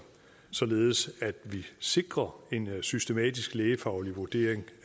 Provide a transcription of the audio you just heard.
således at vi sikrer en systematisk lægefaglig vurdering